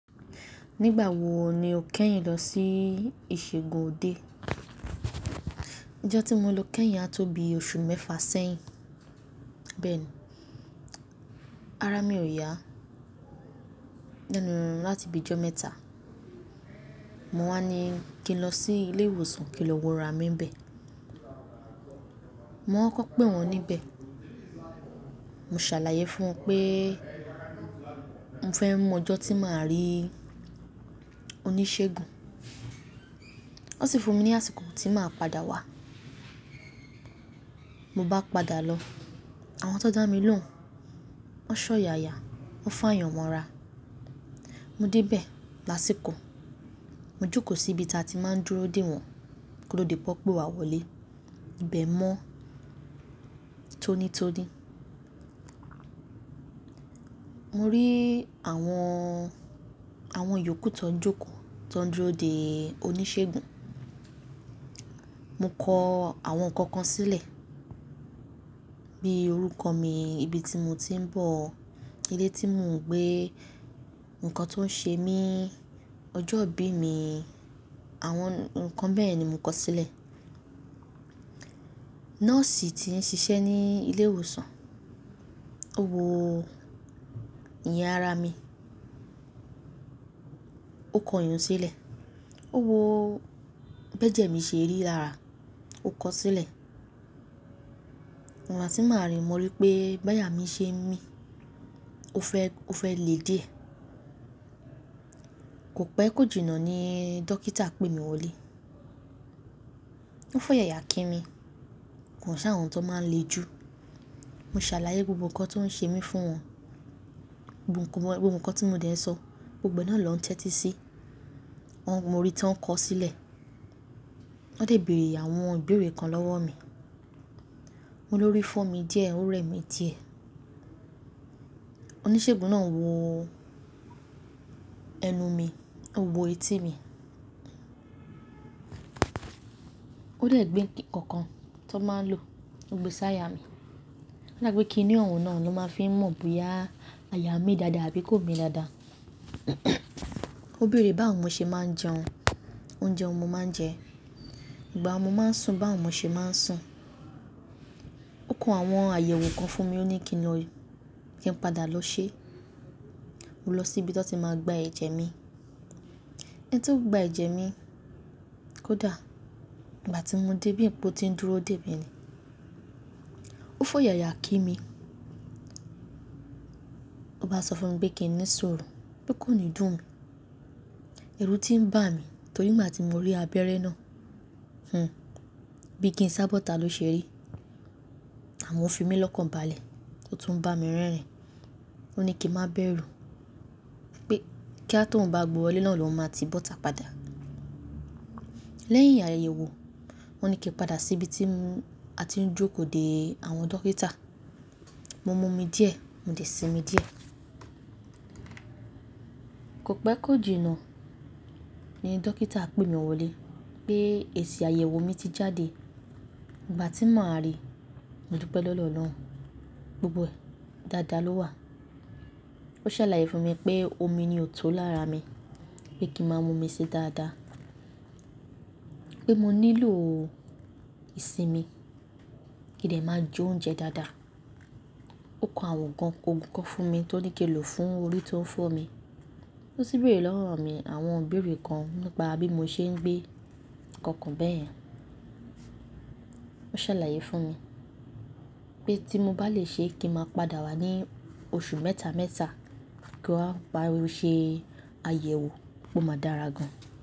Nígbà wo ni o kẹ́yìn lọ sí ìṣègùn òde Ọjọ́ tí mo lọ kẹ́yìn á tó bí oṣù mẹ́fà sẹ́yìn. Bẹ́ẹ̀ni, ara mi ò yá nínú láti ibi ọjọ́ mẹ́ta. Mo wá ní kí n lọ sí ilé ìwòsàn kí lọ wo ara mi n bẹ. Mo kọkọ pe wọ́n níbẹ̀. Mo ṣàlàyé fún wọn pé mo fẹ́ mọ ọjọ́ tí màá rí oníṣègùn. Wọ́n sì fún mi ní àsìkò tí màá padà wá. Mo bá padà lọ, àwọn tó dá mi lóhùn, wọ́n ṣọ́ yaya, wọ́n faayọn mọn ra. Mo dé bẹ̀ lásìkò. Mo jókòó sí ibi tí a ti máa ń dúró dè wọ́n kóto di pe wọn pé wàá wọlé. Ìbẹ̀ mọ́ tónítóní. Mo rí àwọn, àwọn yòókù tó ń jókòó tó ń dúró dè oníṣègùn. Mo kọ àwọn nǹkan kan sílẹ̀ bí i orúkọ mi, ibi tí mo ti ń bọ̀, ilé tí mò ń gbé, ǹkan tó ń ṣe mí, ọjọ́ ìbí mi, àwọn nǹkan bẹ́ẹ̀ ni mo kọ sílẹ̀. Nọ́ọ̀sì tí ń ṣiṣẹ́ ní ilé ìwòsàn, ó wo ìyín ara mi, ó kọ ìyiun sílẹ̀, ó wo bi ẹjẹ mi ṣe rí lára, ó kọ sílẹ̀. Igba ti maa rí, mo rí pé báyà mí ṣe ń mí, ó fẹ́, ó fẹ́ lè diẹ Kò pẹẹ kò jìnnà ni dókítà pé mi wọlé. Ó fọ́yàyà kí mi. Kò sẹ́ àwọn tó máa ń le jù. Mo ṣàlàyé gbogbo nǹkan tó ń ṣe mí fún wọn. Gbogbo nǹkan tí mo dẹ̀ ń sọ, gbogbo náà ló ń tẹ́tí sí i. Mo rí i tó ń kọ sílẹ̀. Wọ́n dẹ beere àwọn ìbéèrè kan lọ́wọ́ mi. Mo lórí fọ mi díẹ̀, ó rẹ̀ mí díẹ̀. Oníṣègùn náà wo ẹnu mi, ó wo etí mi. Ó dẹ̀ gbé nǹkan kan tó máa ń lò, ó gbe sí àyà mi. Ó dà pé kí ni ọhun náà ni wọn máa fi ń mọ̀ bóyá àyà mi dáadáa àbí kò mi dáadáa. Ó bèèrè báwo ni mo ṣe máa ń jẹun, oúnjẹ wo mo máa ń jẹ, ìgbà wo mo máa ń sùn bawo mo ṣe máa ń sùn. Ó kọ àwọn àyẹ̀wò kan fún mi, ó ní kí n lọ, kí n padà lọ ṣe. Mo lọ sí ibi tí wọ́n ti máa gba ẹ̀jẹ̀ mi. Ẹni tí ó gba ẹ̀jẹ̀ mi, kò dà. Ìgbà tí mo dé bí pe o ti ń dúró dè mí ni. Ó fọ́yàyà kí mi. Ó bá sọ fún mi pé kí n ní suru pe kò ní dùn mí. Ẹru tí ń bà mí torí ìgbà tí mo rí abẹ́rẹ́ náà. Hmm. Bíi kí n sábọ́ta ló ṣe rí. Amo ofi mi lọ́kànbalẹ̀ o tún bá mi rẹ́rìn. Ó ní kí n má bẹ́rù pé kí á tó ń bá gbe wọlé náà lohun máa ti bọ́ta padà. Lẹ́yìn àyẹ̀wò, wọ́n ní kí n padà sí ibi tí a ti ń jókòó dè àwọn dókítà. Mo mú omi díẹ̀, mo de sí mi díẹ̀. Kò péé kò jìnnà ni dókítà pè mi wọlé pé èsì àyẹ̀wò mi ti jáde. Ìgbà tí màá rí, mo dúpẹ́ lọdọ ọlọrun Gbogbo ẹ, dáadáa ló wà. Ó ṣàlàyé fún mi pé omi ni òtó lára mi pé kí n má mú omi sí dáadáa. Pé mo nílò ìsinmi, kí dẹ̀ má jó oúnjẹ dáadáa. Ó kọ àwọn ogun kan fún mi tó ní kí n lò fún orí tó ń fọ́ mi. Ó sì bèèrè lọwọ mi àwọn ìbéèrè kan nípa bí mo ṣe ń gbé, nǹkan kan bẹyẹn Ó ṣàlàyé fún mi pé tí mo bá lè ṣe kí n máa padà wá ní oṣù mẹ́ta mẹ́ta kí wa máa wá ṣe àyẹ̀wò pe máa dára gan.